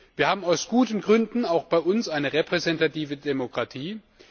Wir haben aus guten Gründen auch bei uns eine repräsentative Demokratie.